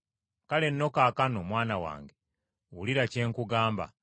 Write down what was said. Kale nno kaakano mwana wange wulira kye nkugamba.